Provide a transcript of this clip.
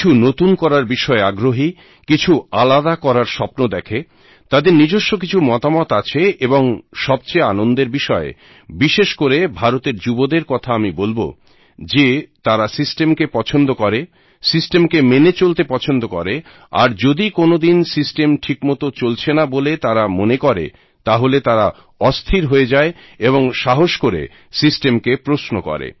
কিছু নতুন করার বিষয়ে আগ্রহী কিছু আলাদা করার স্বপ্ন দেখে তাদের নিজস্ব কিছু মতামত আছে এবং সবচেয়ে আনন্দের বিষয় বিশেষ করে ভারতের যুবদের কথা আমি বলব যে তারা সিস্টেমকে পছন্দ করে সিস্টেমকে মেনে চলতে পছন্দ করে আর যদি কোনদিন সিস্টেম ঠিকমতো চলছে না বলে তারা মনে করে তাহলে তারা অস্থির হয়ে যায় এবং সাহস করে সিস্টেমকে প্রশ্ন করে